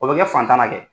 O bɛ kɛ fantan na dɛ